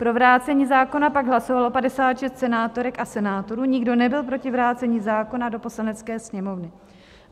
Pro vrácení zákona pak hlasovalo 56 senátorek a senátorů, nikdo nebyl proti vrácení zákona do Poslanecké sněmovny.